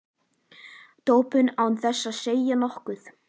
Doppu án þess að segja nokkuð.